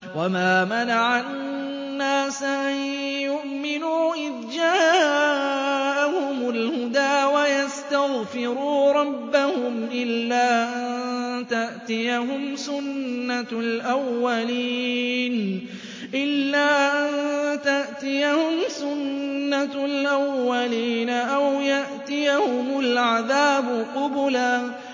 وَمَا مَنَعَ النَّاسَ أَن يُؤْمِنُوا إِذْ جَاءَهُمُ الْهُدَىٰ وَيَسْتَغْفِرُوا رَبَّهُمْ إِلَّا أَن تَأْتِيَهُمْ سُنَّةُ الْأَوَّلِينَ أَوْ يَأْتِيَهُمُ الْعَذَابُ قُبُلًا